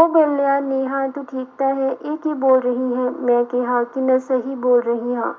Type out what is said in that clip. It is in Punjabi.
ਉਹ ਬੋਲਿਆ ਨੇਹਾਂ ਤੂੰ ਠੀਕ ਤਾਂ ਹੈ ਇਹ ਕੀ ਬੋਲ ਰਹੀ ਹੈਂ ਮੈਂ ਕਿਹਾ ਕਿ ਮੈਂ ਸਹੀ ਬੋਲ ਰਹੀ ਹਾਂ।